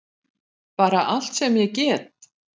Bara alla sem ég get!